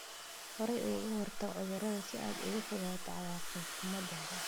Horay uga hortag cudurada si aad uga fogaato cawaaqib xumo danbe.